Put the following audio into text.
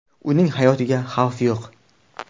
Uning hayotiga xavf yo‘q.